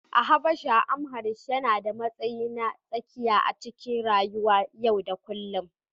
A Habasha, Amharic yana da matsayi na tsakiya a cikin rayuwar yau da kullum